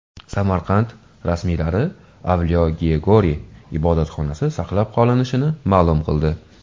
Samarqand rasmiylari Avliyo Georgiy ibodatxonasi saqlab qolinishini ma’lum qildi.